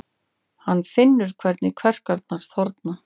Hann finnur hvernig kverkarnar þorna.